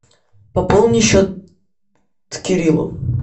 пополни счет кириллу